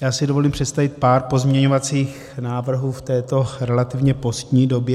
Já si dovolím představit pár pozměňovacích návrhů v této relativně pozdní době.